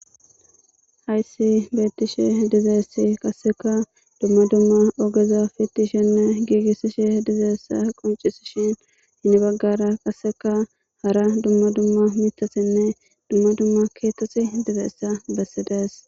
hayssi beettishe dizeessi qasseka dumma dumma ogeza fitti shenne giigissishe dizeessa qoncisishin inni baggara qasseka hara dumma dumma mitasinne dumma dumma keetosi dizeessa bessidees